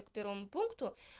по первому пункту